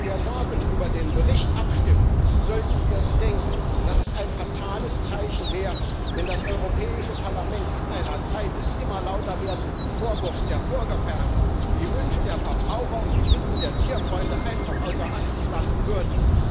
Wenn wir am Morgen über den Bericht abstimmen, sollten wir bedenken, dass es ein fatales Zeichen wäre, wenn das Europäische Parlament in einer Zeit des immer lauter werdenden Vorwurfs der Bürgerferne die Wünsche der Verbraucher und die Bitten der Tierfreunde einfach außer Acht lassen würde.